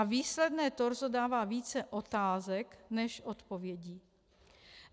A výsledné torzo dává více otázek než odpovědí.